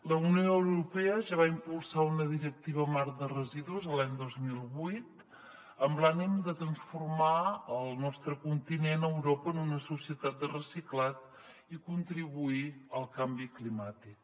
la unió europea ja va impulsar una directiva marc de residus l’any dos mil vuit amb l’ànim de transformar el nostre continent europa en una societat de reciclat i contribuir al canvi climàtic